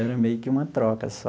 Era meio que uma troca só.